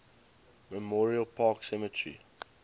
memorial park cemetery